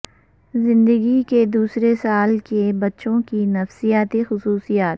زندگی کے دوسرے سال کے بچوں کی نفسیاتی خصوصیات